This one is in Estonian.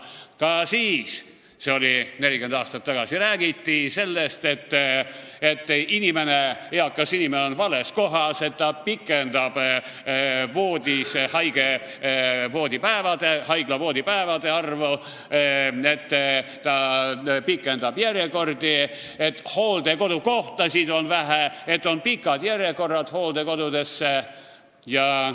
Ka siis – see oli 40 aastat tagasi – räägiti sellest, et eakas inimene on vales kohas, ta pikendab haiglavoodipäevade arvu, ta pikendab järjekordi, hooldekodukohtasid on vähe, on pikad järjekorrad.